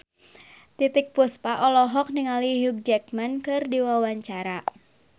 Titiek Puspa olohok ningali Hugh Jackman keur diwawancara